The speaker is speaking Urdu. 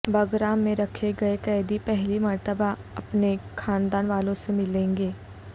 بگرام میں رکھے گئے قیدی پہلی مرتبہ اپنے خاندان والوں سے ملیں گے